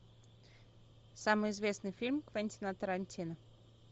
самый известный фильм квентина тарантино